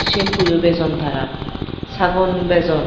sempuyo bejon tara sagon bejon.